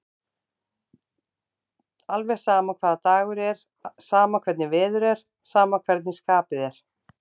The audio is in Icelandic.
Alveg sama hvaða dagur er, sama hvernig veður er, sama hvernig skapið er.